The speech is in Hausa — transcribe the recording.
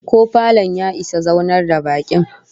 Ko falon ya isa zaunar da bakin?